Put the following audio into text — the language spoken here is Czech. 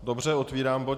Dobře, otvírám bod